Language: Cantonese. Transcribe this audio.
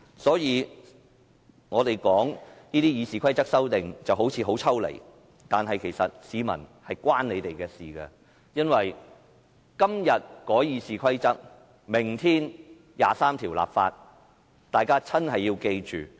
所以，我們討論《議事規則》這些修訂，好像很抽離，但是，其實是與市民息息相關，因為"今日改《議事規則》，明天23條立法"。